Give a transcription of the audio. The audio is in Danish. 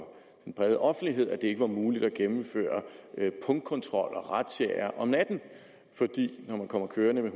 den brede offentlighed at det ikke var muligt at gennemføre punktkontroller og razziaer om natten fordi det når man kommer kørende med